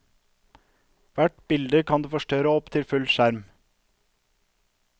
Hvert bilde kan du forstørre opp til full skjerm.